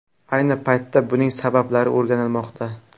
Ayni paytda buning sabablari o‘rganilmoqda.